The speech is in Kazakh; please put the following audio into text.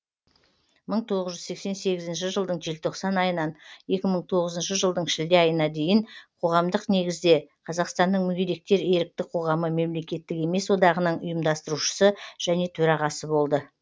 мың тоғыз жүз сексен сегізінші жылдың желтоқсан айынан екі мың тоғызыншы жылдың шілде айына дейін қоғамдық негізде қазақстанның мүгедектер ерікті қоғамы мемлекеттік емес одағының ұйымдастырушысы және төрағасы болды